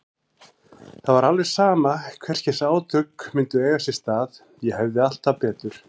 Það var alveg sama hvers kyns átök myndu eiga sér stað, ég hefði alltaf betur.